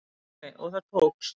Pálmi: Og það tókst?